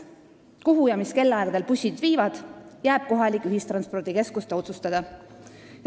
See, kuhu ja mis kellaaegadel bussid sõidavad, jääb kohalike ühistranspordikeskuste otsustada.